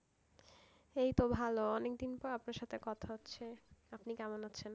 এইতো ভালো অনেকদিন পর আপনার সাথে কথা হচ্ছে, আপনি কেমন আছেন?